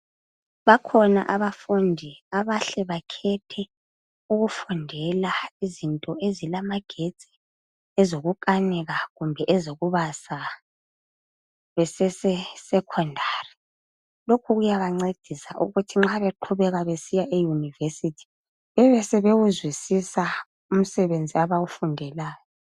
Bakhona abafundi abahle bakhethe ukufundela izinto ezilamagetsi, ezikukanika kumbe ezokubaza besese secondary. Lokhu kuyabancedisa ukuthi nxa beqhubeka besiya eYunivesithi bebesebewuzwisisa umsebenzi abawufundelayo.